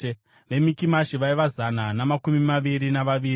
veMikimashi vaiva zana namakumi maviri navaviri;